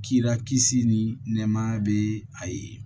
Kira kisi ni nɛɛmaya bɛ a ye